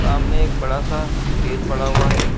सामने एक बड़ा सा स्टेज पड़ा हुआ है।